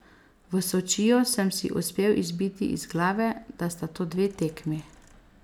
V Sočiju sem si uspel izbiti iz glave, da sta to dve tekmi.